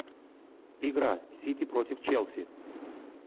игра сити против челси